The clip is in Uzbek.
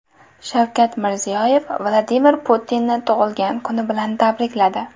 Shavkat Mirziyoyev Vladimir Putinni tug‘ilgan kuni bilan tabrikladi .